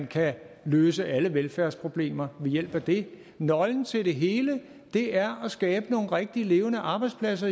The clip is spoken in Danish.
kan løse alle velfærdsproblemer ved hjælp af det nøglen til det hele er at skabe nogle rigtige levende arbejdspladser